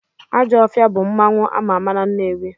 Ajọfịa bụ mmanwụ ama ama na Nnewi.